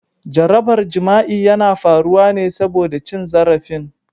Jarabar jima'i yana faruwa ne saboda cin zarafin.